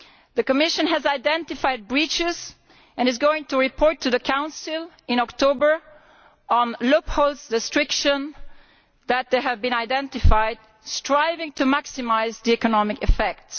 The Commission has identified breaches and is going to report to the Council in October on loophole restrictions which have been identified, striving to maximise the economic effects.